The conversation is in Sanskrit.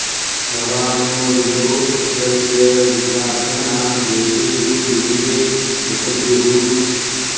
भवा॑ नो दू॒तो अ॑ध्व॒रस्य॑ वि॒द्वान्त्मना॑ दे॒वेषु॑ विविदे मि॒तद्रुः॑